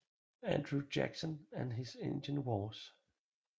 Andrew Jackson and his Indian Wars